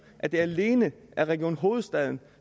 at det alene er region hovedstaden